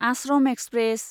Ashram express